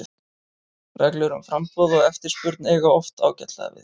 Reglur um framboð og eftirspurn eiga oft ágætlega við.